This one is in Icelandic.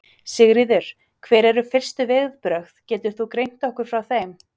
Sigríður: Hver eru fyrstu viðbrögð, getur þú greint okkur frá þeim?